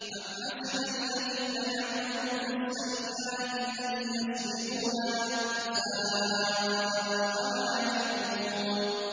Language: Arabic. أَمْ حَسِبَ الَّذِينَ يَعْمَلُونَ السَّيِّئَاتِ أَن يَسْبِقُونَا ۚ سَاءَ مَا يَحْكُمُونَ